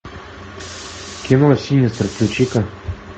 кино синистер включи ка